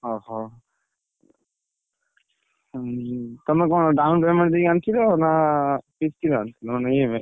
ଅହୋ! ଉଁ ତମେ କଣ down payment ଦେଇ ଆଣିଥିଲ ନା କିସ୍ତି ରେ ଆଣିଥିଲ ମାନେ EMI ?